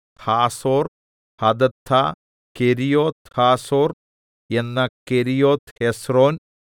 Hazor Hadattah Kerioth Hazor എന്ന Kerioth Hezron